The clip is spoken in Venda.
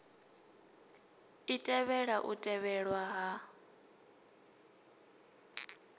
i tevhela u tevhelwa ha